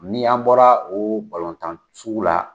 Ni an bɔla o tan sugu la